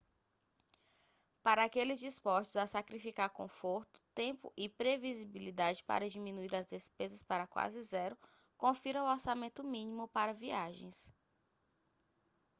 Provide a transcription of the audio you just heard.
para aqueles dispostos a sacrificar conforto tempo e previsibilidade para diminuir as despesas para quase zero confira o orçamento mínimo para viagens